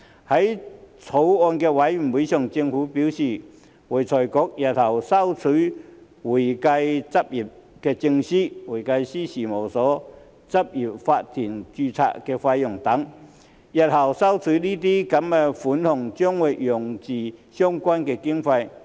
在法案委員會上，政府表示會財局日後會收取會計執業證書、會計師事務所及執業法團註冊費等，日後收取的這些款項將會用作相關經費。